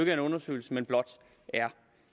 er en undersøgelse men blot